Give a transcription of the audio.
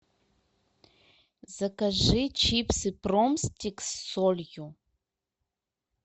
закажи чипсы пом стикс с солью